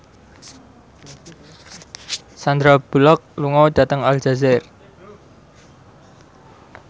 Sandar Bullock lunga dhateng Aljazair